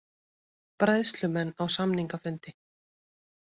Bræðslumenn á samningafundi